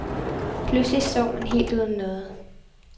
Pludselig står man helt uden noget.